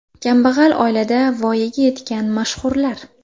Kambag‘al oilada voyaga yetgan mashhurlar .